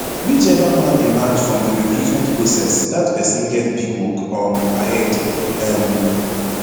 whichever man emerge from di recruitment process dat pesin get big work um ahead um